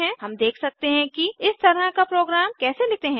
हम देख सकते हैं कि इस तरह का प्रोग्राम कैसे लिखते हैं